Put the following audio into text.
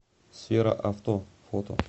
сфера авто фото